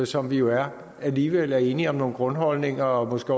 som vi jo er alligevel er enige om nogle grundholdninger og måske